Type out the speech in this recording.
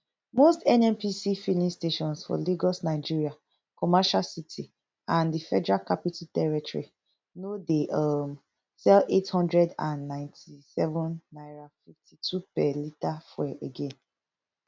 most nnpc filing stations for lagos nigeria commercial city and di federal capital territory no dey um sell eight hundred and ninety-seven naira fifty-two per litre fuel again